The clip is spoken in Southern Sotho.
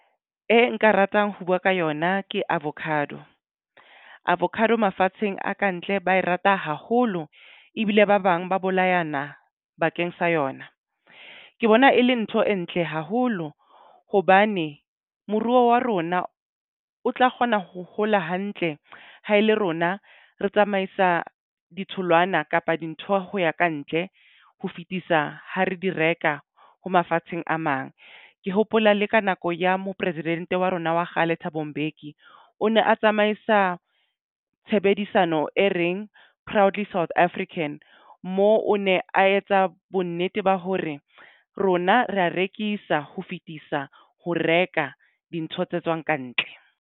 E nka ratang ho buwa ka yona ke avacado. Avocado mafatsheng a ka ntle ba e rata haholo ebile ba bang ba bolayana bakeng sa yona. Ke bona ele ntho entle haholo hobane moruo wa Rona otla kgona ho hola hantle haele rona re tsamaisa ditholwana kapa dintho ho ya ka ntle ho fitisa ha re do reka ho mafatsheng a mang. Ke hopola le ka nako ya mopresidente wa rona wa kgale Thabo Mbeki o ne a tsamaisa tshebedisano e reng proudly South African moo o ne a etsa bonnete ba hore rona re ya rekisa ho fitisa ho reka dintho tse tswang ka ntle.